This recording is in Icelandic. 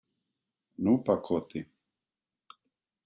Núpakoti